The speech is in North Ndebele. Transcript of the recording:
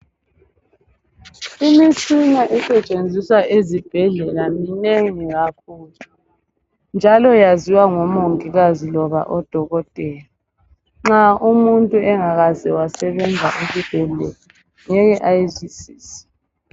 Imitshina esetshenziswa ezibhedlela minengi kakhulu njalo yaziwa ngomongikazi loba odokotela. Nxa umuntu engakaze asebenza esibhedlela ngeke ayizwisise.